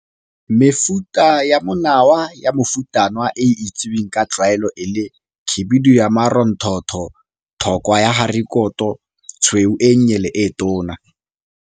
Mefuta ya monawa ya mofutanawa e e itseweng ka tlwaelo e le. Khibidu ka maronthotho, thokwa ya harikoto, tshweu e nnye le e tona.